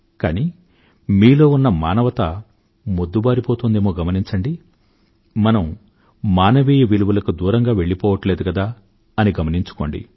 కానీ మీలో ఉన్న మానవత మెద్దుబారిపోతోందేమో గమనించండి మనం మానవీయ విలువలకు దూరంగా వెళ్ళిపోవట్లేదు కదా అని గమనించుకోండి